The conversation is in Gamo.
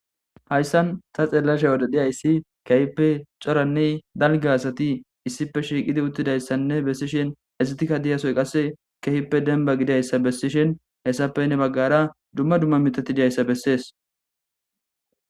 Hayssan ta xeellasha odedhiyayssi kehippe coranne dalge asati issipe shiiqidi uttidayssanne bessishen ezitikka diyasoy qasse kehippe denba gidayssa bessishen hessappenne baggara dumma dumma mitati diyayssa bessees.